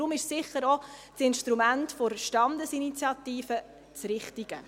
Daher ist sicher auch das Instrument der Standesinitiative das richtige.